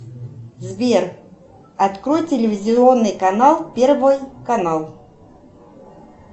сбер открой телевизионный канал первый канал